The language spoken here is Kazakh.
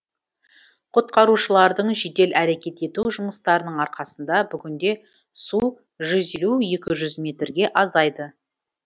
құтқарушылардың жедел әрекет ету жұмыстарының арқасында бүгінде су жүз елу екі жүз метрге азайды